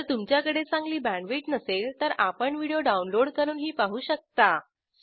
जर तुमच्याकडे चांगली बॅण्डविड्थ नसेल तर आपण व्हिडिओ डाउनलोड करूनही पाहू शकता